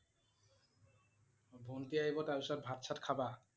অ' ভন্টি আহিব তাৰ পিছত ভাত-চাত খাবা?